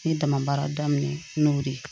N ye dama baara daminɛ n'o de ye